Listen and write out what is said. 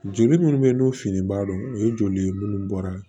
Joli minnu bɛ n'u fini baa don o ye joli ye munnu bɔra